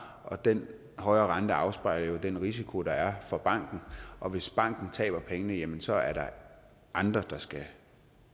den højere rente afspejler jo den risiko der er for banken og hvis banken taber pengene jamen så er der andre der skal